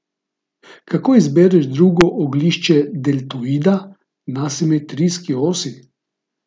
Kako izbereš drugo oglišče deltoida na simetrijski osi?